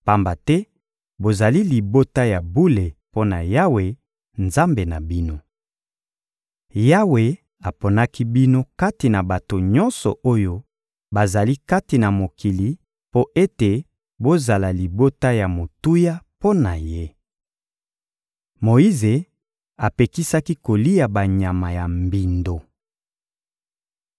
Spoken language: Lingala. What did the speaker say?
pamba te bozali libota ya bule mpo na Yawe, Nzambe na bino. Yawe aponaki bino kati na bato nyonso oyo bazali kati na mokili mpo ete bozala libota ya motuya mpo na Ye. Moyize apekisaki kolia banyama ya mbindo